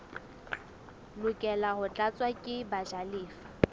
lokela ho tlatswa ke bajalefa